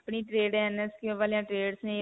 ਆਪਣੀ ਵਾਲਿਆਂ trades ਨੇ.